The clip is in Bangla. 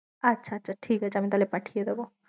আচ্ছা, আচ্ছা ঠিক আছে আমি তাহলে পাঠিয়ে দোবো।